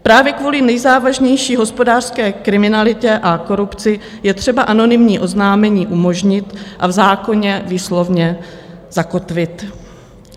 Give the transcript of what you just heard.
Právě kvůli nejzávažnější hospodářské kriminalitě a korupci je třeba anonymní oznámení umožnit a v zákoně výslovně zakotvit.